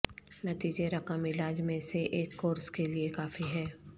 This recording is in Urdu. نتیجے رقم علاج میں سے ایک کورس کے لئے کافی ہے